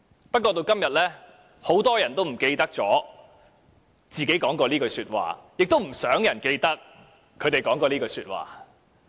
不過，直至今日，很多人都忘記自己說過這句話，亦不想有人記得他們說過這句話。